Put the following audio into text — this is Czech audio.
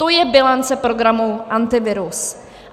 To je bilance programu Antivirus.